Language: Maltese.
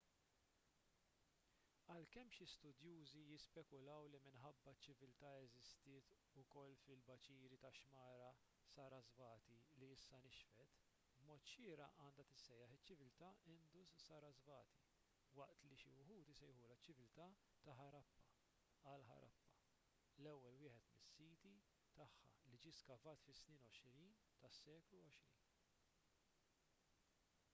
għalkemm xi studjużi jispekulaw li minħabba li ċ-ċiviltà eżistiet ukoll fil-baċiri tax-xmara sarasvati li issa nixfet b'mod xieraq għandha tissejjaħ iċ-ċiviltà indus-sarasvati waqt li xi wħud isejħulha ċ-ċiviltà ta' ħarappa għal ħarappa l-ewwel wieħed mis-siti tagħha li ġie skavat fis-snin 20 tas-seklu għoxrin